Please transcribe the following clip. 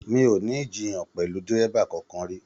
Mi o ni ijiyan pẹlú dírẹ́bà kánkan ri.